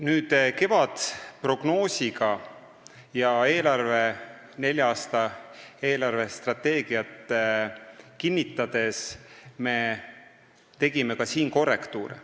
Me tegime siin kevadprognoosi põhjal ja nelja aasta eelarvestrateegiat kinnitades ka korrektiive.